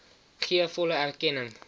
gee volle erkenning